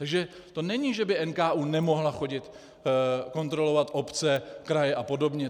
Takže to není, že by NKÚ nemohl chodit kontrolovat obce, kraje a podobně.